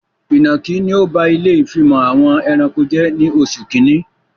Ìnọ̀kí ni ọ ba ilé ìfimọ̀ àwọn ẹranko jẹ ní oṣù kínní